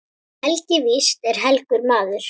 Helgi víst er helgur maður.